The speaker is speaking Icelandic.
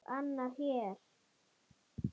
Og annar hér!